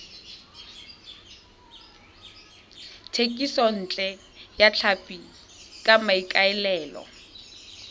thekisontle ya tlhapi ka maikaelelo